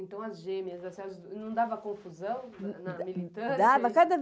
Então, as gêmeas, não dava confusão na militância?